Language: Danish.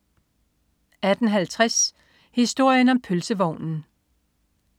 18.50 Historien om pølsevognen